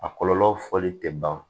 A kɔlɔlɔ fɔli tɛ ban